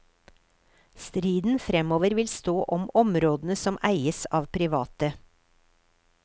Striden fremover vil stå om områdene som eies av private.